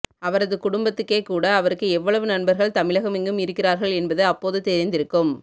அவரது குடும்பத்துக்கேகூட அவருக்கு எவ்வளவு நண்பர்கள் தமிழகமெங்கும் இருக்கிறார்கள் என்பது அப்போது தெரிந்திருக்கும்